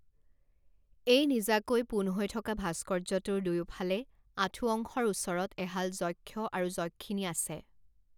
এই নিজাকৈ পোন হৈ থকা ভাস্কৰ্যটোৰ দুয়োফালে আঁঠু অংশৰ ওচৰত এহাল যক্ষ আৰু যক্ষিনী আছে।